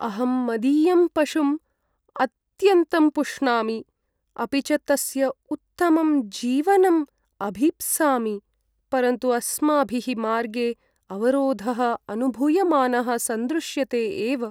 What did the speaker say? अहं मदीयं पशुं अत्यन्तं पुष्णामि। अपि च तस्य उत्तमं जीवनं अभीप्सामि, परन्तु अस्माभिः मार्गे अवरोधः अनुभूयमानः सन्दृश्यते एव।